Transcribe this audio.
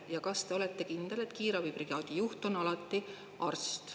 Ja kas te olete kindel, et kiirabibrigaadi juht on alati arst?